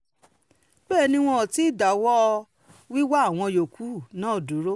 bẹ́ẹ̀ ni wọn ò tí ì dáwọ́ wíwá àwọn yòókù náà dúró